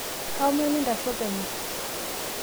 kaomon intasho penyo